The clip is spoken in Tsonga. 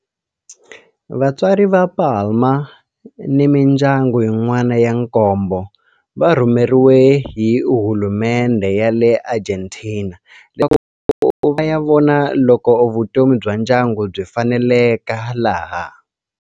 Vatswari va Palma ni mindyangu yin'wana ya nkombo va rhumeriwe hi hulumendhe ya le Argentina leswaku va ya vona loko vutomi bya ndyangu byi faneleka laha.